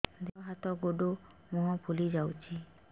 ଦେହ ହାତ ଗୋଡୋ ମୁହଁ ଫୁଲି ଯାଉଛି